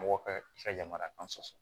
Mɔgɔ ka yamaruya kan sɔsɔ